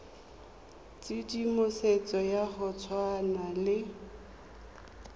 tshedimosetso ya go tshwana le